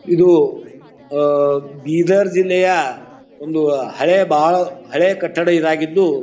ಇದು ಆಹ್ಹ್ ಬೀದರ್ ಜಿಲ್ಲೆಯ ಒಂದು ಹಳೆ ಬಾಳ ಹಳೆಯ ಕಟ್ಟಡ ಇದ್ ಆಗಿದ್ದು--